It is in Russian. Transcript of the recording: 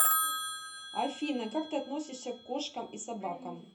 афина как ты относишься к кошкам и собакам